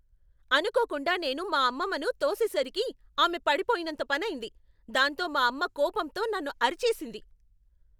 అనుకోకుండా నేను మా అమ్మమ్మను తోసేసరికి ఆమె పడిపోయినంత పనైంది, దాంతో మా అమ్మ కోపంతో నన్ను అరిచేసింది.